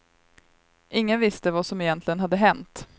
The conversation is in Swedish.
Ingen visste vad som egentligen hade hänt.